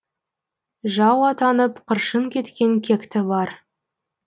жау атанып қыршын кеткен кекті бар